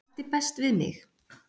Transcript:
og ætti best við mig